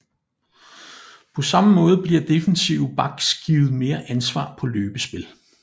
På samme måde bliver defensive backs givet mere ansvar på løbespil